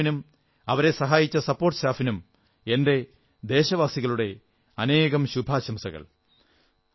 മുഴുവൻ ടീമിനും അവരെ സഹായിച്ച സപ്പോർട് സ്റ്റാഫിനും എന്റെ ദേശവാസികളുടെ അനേകം ശുഭാശംസകൾ